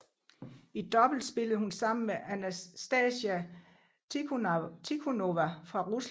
I double spillede hun sammen med Anastasia Tikhonova fra Rusland